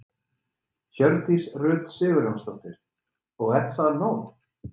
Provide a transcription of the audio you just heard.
Hjördís Rut Sigurjónsdóttir: Og er það nóg?